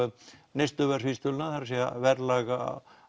neysluverðsvísitöluna það er að verðlag